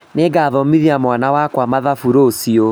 Nĩngathomithia mwana wakwa mathabu rũciũ